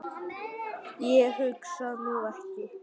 Ég hugsa nú ekki.